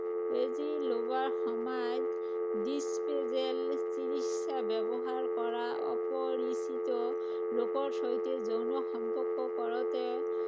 বেজি লোৱাৰ সময়ত disposable syringe ব্যৱহাৰ কৰা, অপৰিচিত লোকৰ সৈতে যৌন সম্পৰ্ক কৰোতে